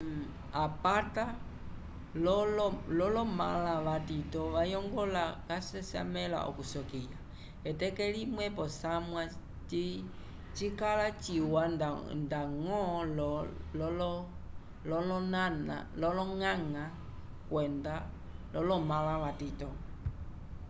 apata lolo mala vatito vayongola ca sesamela okusokiya eteke limwe posamwa cikala ciwa ndango lo loñaña kwenda lomala vatito